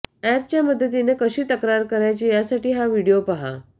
अॅपच्या मदतीनं कशी तक्रार करायची यासाठी हा व्हिडिओ पाहा